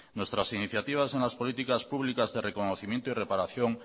nuestras iniciativas en las políticas públicas de reconocimiento y reparación